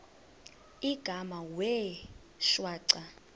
igama wee shwaca